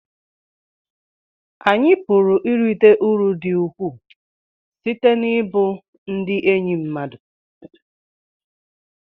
anyị pụrụ irite uru dị ukwuu site n'ịbụ ndị enyi mmadụ